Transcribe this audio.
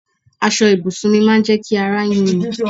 Aṣọ ibùsùn mi máa ń jẹ ki àrà yun mí